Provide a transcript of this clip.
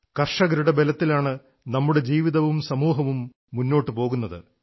കർഷകരുടെ ബലത്തിലാണ് നമ്മുടെ ജീവിതവും സമൂഹവും മുന്നോട്ടു പോകുന്നത്